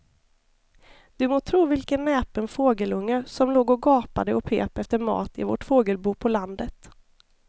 Du må tro vilken näpen fågelunge som låg och gapade och pep efter mat i vårt fågelbo på landet.